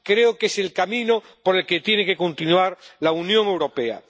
Creo que es el camino por el que tiene que continuar la Unión Europea.